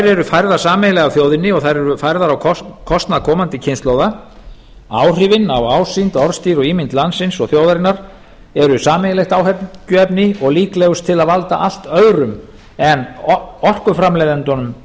eru færðar sameiginlega af þjóðinni og þær eru færðar á kostnað komandi kynslóða áhrifin á ásýnd orðstír og ímynd landsins og þjóðarinnar eru sameiginlegt áhyggjuefni og líklegust til að valda allt öðrum en orkuframleiðendunum